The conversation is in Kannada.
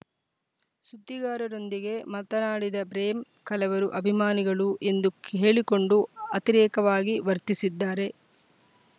ಸುದ್ದಿಗಾರರೊಂದಿಗೆ ಮಾತನಾಡಿದ ಬ್ರೇಮ್ ಕಲವರು ಅಭಿಮಾನಿಗಳು ಎಂದು ಹೇಳಿಕೊಂಡು ಅತಿರೇಕವಾಗಿ ವರ್ತಿಸಿದ್ದಾರೆ